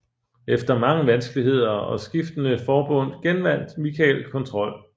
Efter mange vanskeligheder og skiftende forbund genvandt Michael kontrol